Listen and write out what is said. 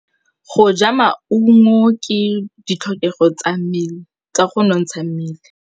Go ja maungo ke ditlhokegô tsa go nontsha mmele.